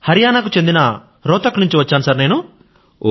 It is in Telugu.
హరియాణా కు చెందిన రోహ్తక్ నుంది వచ్చాను సర్ నేను